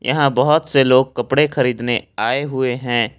यहां बहुत से लोग कपड़े खरीदने आए हुए हैं।